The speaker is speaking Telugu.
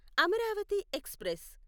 అమరావతి ఎక్స్ప్రెస్